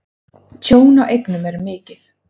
Tjón á eignum er mikið.